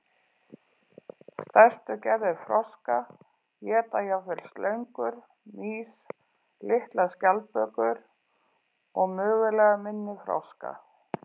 Stærstu gerðir froska éta jafnvel slöngur, mýs, litlar skjaldbökur og mögulega minni froska.